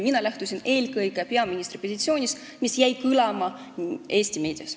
Mina lähtusin eelkõige peaministri positsioonist, mis on jäänud kõlama Eesti meedias.